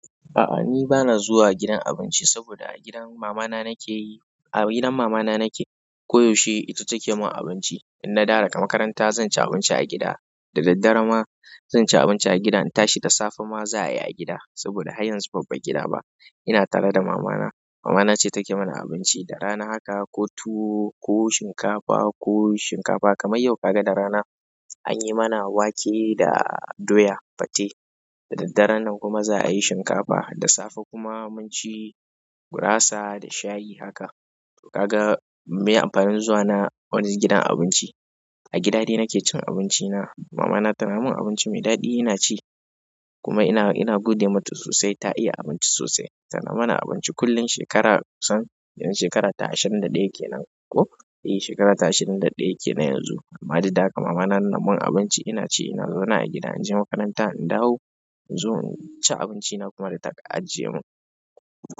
Aa ni bana zuwa gidan abinci saboda a gidan mamana nakeyi a gidan mamana nake ko yaushe ita take min abinci in na dawo daga makaranta zan ci abinci a gida, da daddare ma zan ci abinci a gida. In tashi da safe ma za a yi a gida saboda haryanzu ban bag gida ba. Ina tare da mama na, mama na ce take mana abinci. Da rana haka, ko tuwo, ko shinkafa, ko shinkafa. Kamar yau kaga da rana anyi mana wake da doya, fate. Da daddare nan kuma za a yi shinkafa. Da safe kuma mun ci gurasa da shayi haka. To kaga meye amfanin zuwa na wani gidan abinci. A gida dai nake cin abinci na. Mama na tana min abinci mai daɗi ina ci kuma ina ina gode mata sosai ta iya abinci sosai. Tana mana abinci kullum. Shekara kusan yanxu shekara ta ashirin da ɗaya kenan ko eh shekara ta ashirin da ɗaya kenan yanzu. Amma duk da haka mama na min abinci ina ci, ina zauna a gida. In je makaranta in dawo in zo in ci abinci na kuma da ta ajiye mun.